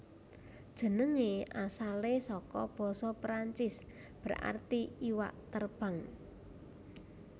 Jenengé asalé saka basa Perancis berarti iwak terbang